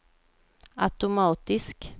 automatisk